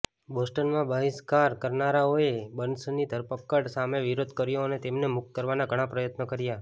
બોસ્ટનમાં બહિષ્કાર કરનારાઓએ બર્ન્સની ધરપકડ સામે વિરોધ કર્યો અને તેમને મુક્ત કરવાના ઘણા પ્રયત્નો કર્યા